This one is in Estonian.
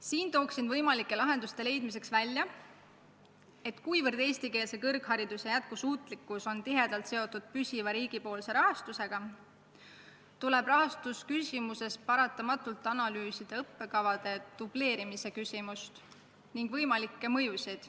Siin pakun võimalike lahenduste leidmiseks välja, et kuna eestikeelse kõrghariduse jätkusuutlikkus on tihedalt seotud püsiva riigipoolse rahastusega, tuleb rahastuse üle otsustades tingimata analüüsida õppekavade dubleerimise küsimust ning võimalikke mõjusid.